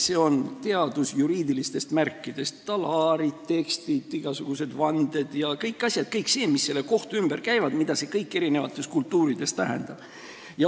See on teadus juriidilistest märkidest: talaarid, tekstid, igasugused vanded ja kõik asjad – kõik see, mis kohtu ümber käib, ja mida see kõik eri kultuurides tähendab.